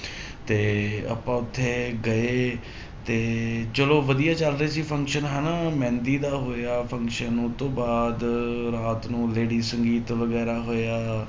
ਤੇ ਆਪਾਂ ਉੱਥੇ ਗਏ ਤੇ ਚਲੋ ਵਧੀਆ ਚੱਲਦੇ ਸੀ function ਹਨਾ ਮਹਿੰਦੀ ਦਾ ਹੋਇਆ function ਉਹ ਤੋਂ ਬਾਅਦ ਰਾਤ ਨੂੰ lady ਸੰਗੀਤ ਵਗ਼ੈਰਾ ਹੋਇਆ,